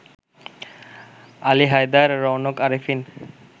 Ali Haider, Raunak Arefin